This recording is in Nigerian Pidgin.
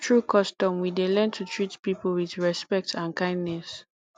through custom we dey learn to treat people with respect and kindness